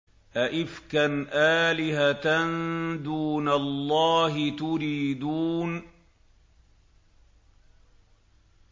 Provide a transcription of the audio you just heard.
أَئِفْكًا آلِهَةً دُونَ اللَّهِ تُرِيدُونَ